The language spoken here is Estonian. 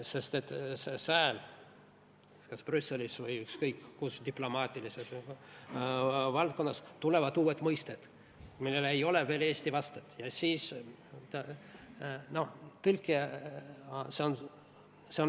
Sest et sfäär kas Brüsselis või ükskõik kus diplomaatilises ringkonnas võib olla mis tahes, kasutatakse uusi mõisteid, millel ei ole veel eesti vastet ...